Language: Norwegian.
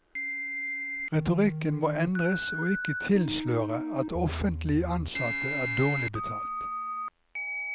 Retorikken må endres og ikke tilsløre at offentlige ansatte er dårlig betalt.